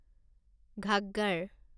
Ghaggar